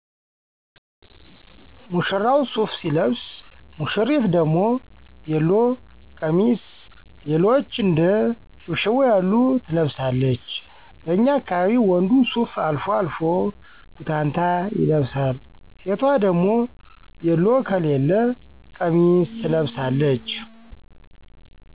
ሙሽራው ሱፍ ሲለብስ ውሽሪት ደሞ ቤሎ፣ ቀሚስ ሌሎችም እንደ ሽብሽቦ ያሉ ትለብሳለች። በኛ አካባቢ ወንዱ ሱፍ አልፎ አልፎ ቡታንታ ይለብሳል። ሴቷ ደሞ ቤሎ ከለያ ቀሚስ ትለቅሳለች